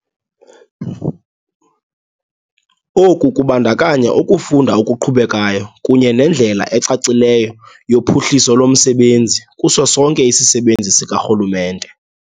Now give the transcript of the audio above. Oku kubandakanya ukufunda okuqhubekayo kunye nendlela ecacileyo yophuhliso lomsebenzi kuso sonke isisebenzi sikarhulumente.